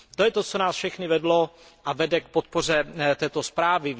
To je to, co nás všechny vedlo a vede k podpoře této zprávy.